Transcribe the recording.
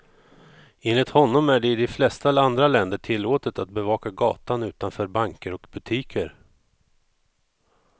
Enligt honom är det i de flesta andra länder tillåtet att bevaka gatan utanför banker och butiker.